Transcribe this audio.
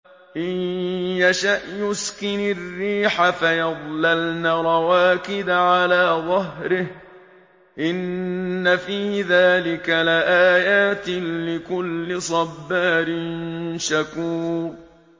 إِن يَشَأْ يُسْكِنِ الرِّيحَ فَيَظْلَلْنَ رَوَاكِدَ عَلَىٰ ظَهْرِهِ ۚ إِنَّ فِي ذَٰلِكَ لَآيَاتٍ لِّكُلِّ صَبَّارٍ شَكُورٍ